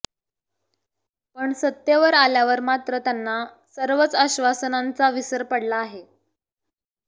पण सत्तेवर आल्यावर मात्र त्यांना सर्वच आश्वासनांचा विसर पडला आहे